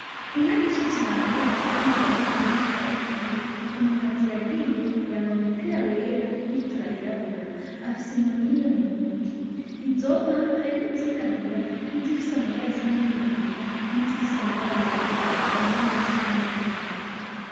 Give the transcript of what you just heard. Inka nyinshi cane basize mu ruhande rumwe baragiye. Umuntu aziragiye yambaye umupira wera n'ibutura y'irabura. Afise inkoni imwe mu ntoke. Izo nka harimwo izirabura, n’izifise amabara asa n’inginagina, n’izifise amabara yera avanze n'ayasa n'inginagina.